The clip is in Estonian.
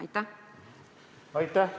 Aitäh!